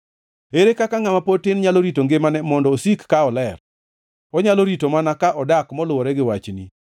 Ere kaka ngʼama pod tin nyalo rito ngimane mondo osik ka oler? Onyalo rito mana ka odak moluwore gi wachni.